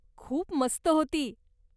खूप मस्त होती.